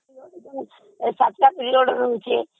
ଯୋଉ ସାତଟା ପିରିଅଡ ରହୁଛି କି